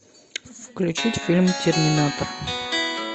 включить фильм терминатор